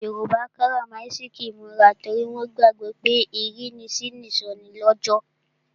Yoruba karamasiki imura torí wọn gbàgbó pé ìrínisí ni ìsọnilọ́jọ̀.